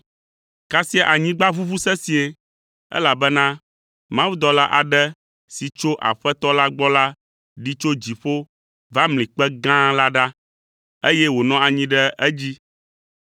Kasia anyigba ʋuʋu sesĩe, elabena mawudɔla aɖe si tso Aƒetɔ la gbɔ la ɖi tso dziƒo va mli kpe gã la ɖa, eye wònɔ anyi ɖe edzi.